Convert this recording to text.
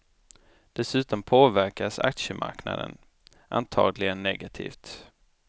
Dessutom påverkas aktiemarknaden, antagligen negativt.